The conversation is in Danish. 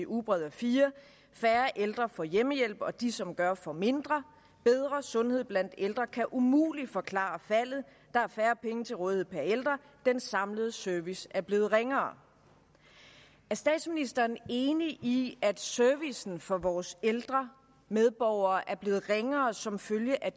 ugebrevet a4 færre ældre får hjemmehjælp og de som gør får mindre bedre sundhed blandt ældre kan umuligt forklare faldet der er færre penge til rådighed per ældre den samlede service er blevet ringere er statsministeren enig i at servicen for vores ældre medborgere er blevet ringere som følge af